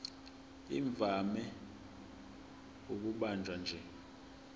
ivame ukubanjwa nje